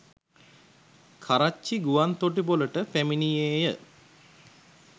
කරච්චි ගුවන්තොටුපලට පැමිණියේය.